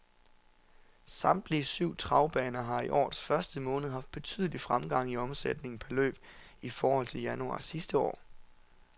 Samtlige syv travbaner har i årets første måned haft betydelig fremgang i omsætningen per løb i forhold til januar sidste år.